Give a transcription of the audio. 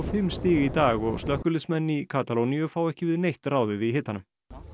fimm stig í dag og slökkviliðsmenn í Katalóníu fá ekki við neitt ráðið í hitanum